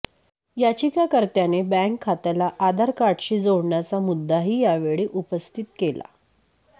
याचिकाकर्त्याने bank खात्याला आधार कार्डशी जोडण्याचा मुद्दाही या वेळी उपस्थित केला